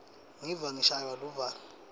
ngiva ngishaywa luvalo